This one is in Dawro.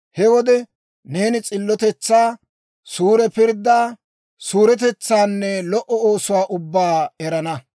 He wode neeni s'illotetsaa, suure pirddaa, suuretetsaanne lo"o oosuwaa ubbaa erana.